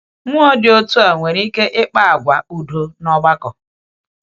Mmụọ dị otu a nwere ike ịkpa ákwá udo n’ọgbakọ.